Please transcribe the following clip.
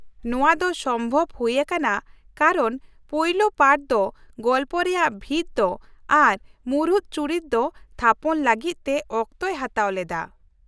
ᱱᱚᱶᱟ ᱫᱚ ᱥᱚᱢᱵᱷᱚᱵ ᱦᱩᱭ ᱟᱠᱟᱱᱟ ᱠᱟᱨᱚᱱ ᱯᱳᱭᱞᱳ ᱯᱟᱨᱴ ᱫᱚ ᱜᱚᱞᱯᱚ ᱨᱮᱭᱟᱜ ᱵᱷᱤᱛ ᱫᱚ ᱟᱨ ᱢᱩᱬᱩᱫ ᱪᱩᱨᱤᱛ ᱫᱚ ᱛᱷᱟᱯᱚᱱ ᱞᱟᱹᱜᱤᱫ ᱛᱮ ᱚᱠᱛᱚᱭ ᱦᱟᱛᱟᱣ ᱞᱮᱫᱟ ᱾